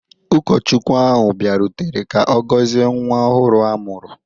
Ụkọchukwu ahụ bịarutere ka ọ gọzie nwa ọhụrụ a mụrụ.